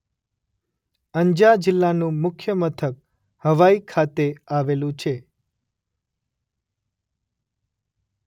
અંજા જિલ્લાનું મુખ્ય મથક હવાઇ ખાતે આવેલું છે.